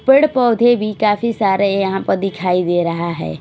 पेड़ पौधे भी काफी सारे यहां प दिखाई दे रहा है।